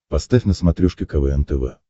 поставь на смотрешке квн тв